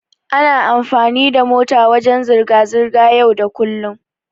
Ana amfani da mota wajen zirga-zirga yau da kullum.